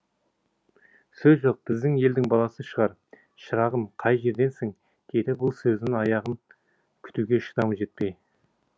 сөз жоқ біздің елдің баласы шығар осы шырағым қай жерденсің деді бұл сөз аяғын күтуге шыдамы жетпей